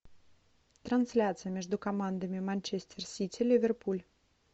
трансляция между командами манчестер сити ливерпуль